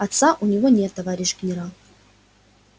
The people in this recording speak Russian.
отца у него нет товарищ генерал